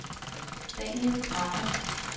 Daniel Drejer